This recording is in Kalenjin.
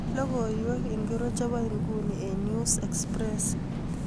Logoiwek ingircho chebo nguni eng 'News express'